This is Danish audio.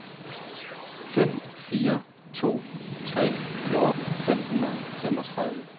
fem fire to tre fjorten fem hundrede og femogtredive